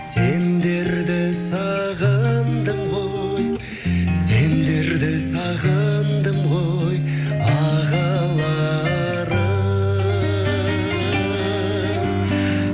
сендерді сағындым ғой сендерді сағындым ғой ағаларым